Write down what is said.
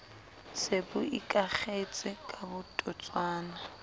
se bo ikakgetse ka setotswana